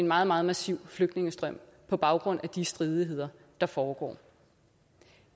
meget meget massive flygtningestrømme på baggrund af de stridigheder der foregår